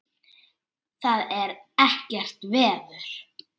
Það er ekkert veður.